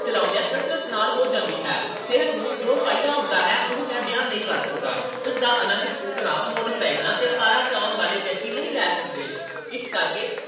ਚਲਾਉਂਦਿਆਂ ਕਸਰਤ ਨਾਲ ਹੋ ਜਾਂਦੀ ਹੈ। ਸਿਹਤ ਨੂੰ ਜੋ ਫਾਇਦਾ ਹੁੰਦਾ ਹੈ, ਉਹ ਮੈਂ ਬਿਆਨ ਨਹੀਂ ਕਰ ਸਕਦਾ। ਉਸ ਦਾ ਆਨੰਦ ਸਕੂਟਰਾਂ, ਮੋਟਰਸਾਈਕਲਾਂ ਤੇ ਕਾਰਾਂ ਚਲਾਉਣ ਵਾਲੇ ਵਿਅਕਤੀ ਨਹੀਂ ਲੈ ਸਕਦੇ। ਇਸ ਕਰਕੇ